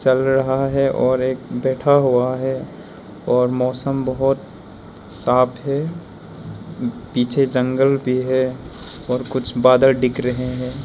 चल रहा है और एक बैठा हुआ है और मौसम बहोत साफ है पीछे जंगल भी है और कुछ बादल दिख रहे हैं।